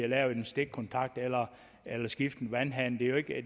lave en stikkontakt eller skifte en vandhane det er jo ikke